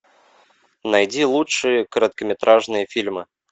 найди лучшие короткометражные фильмы